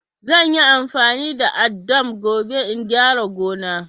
Zan yi amfani da addam gobe in gyara gona.